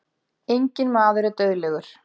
Enginn maður er dauðlegur.